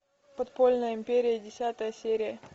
подпольная империя десятая серия